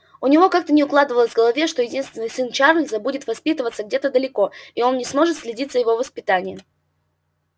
у него как-то не укладывалось в голове что единственный сын чарлза будет воспитываться где-то далеко и он не сможет следить за его воспитанием